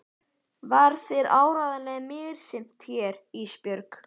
Var þér áreiðanlega misþyrmt hérna Ísbjörg?